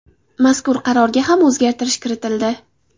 Mazkur qarorga ham o‘zgartirish kiritildi.